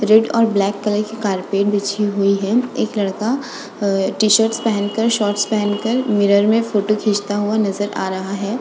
Red और black colour की carpet बिछी हुई है एक लड़का अ टी-शर्ट पहन कर शॉट्स पहनकर मिरर में फोटो खींचता हुआ नजर आ रहा है।